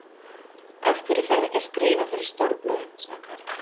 Af hverju ferðu ekki að skrifa fyrir stórblöðin? sagði Karl.